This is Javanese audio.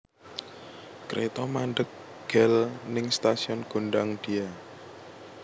Kreto mandheg gel ning stasiun Gondangdia